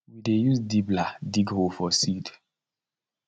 we dey use dibbler dig hole for seed